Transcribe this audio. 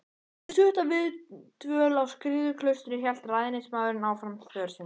Eftir stutta viðdvöl á Skriðuklaustri hélt ræðismaðurinn áfram för sinni.